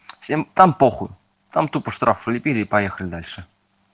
всем там похуй тупо штраф влипили и поехали дальше